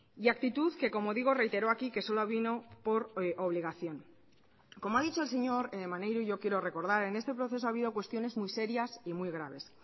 y actitud que como digo reiteró aquí que solo vino por obligación como ha dicho el señor maneiro yo quiero recordar en este proceso ha habido cuestiones muy serias y muy graves